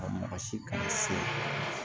Mɔgɔ si kana se